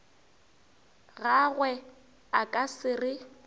gagwe a ka se re